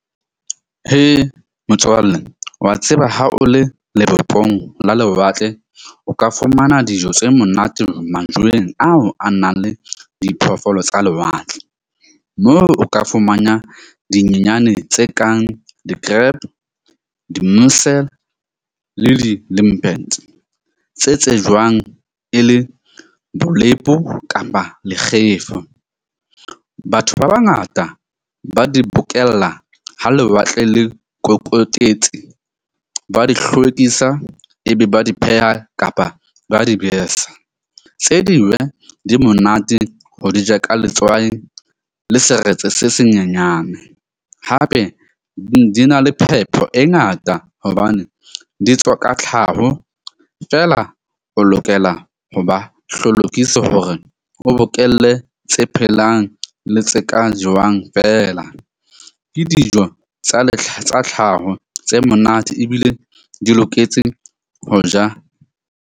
Motswalle wa tseba ha o le lebopong la lewatle, o ka fumana dijo tse monate majweng ao a nang le diphoofolo tsa lewatle. Moo o ka fumana dinyenyane tse kang di-crab di-musel, le di tse tsejwang e le bolepo kapa lekgefa. Batho ba bangata ba di bokella ha lewatle le ba di hlwekisa, e be ba di pheha kapa ba di besa, tse di monate ho di ja ka letswai le seretse se senyenyane. Hape di na le phepo e ngata hobane di tswa ka tlhaho. Feela o lokela ho ba hore o bokelle tse phelang le tse ka jewang feela. Ke dijo tsa tsa tlhaho tse monate ebile di loketse ho ja.